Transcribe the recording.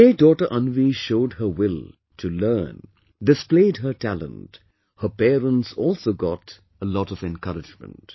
The way daughter Anvi showed her will to learn, displayed her talent, her parents also got a lot of encouragement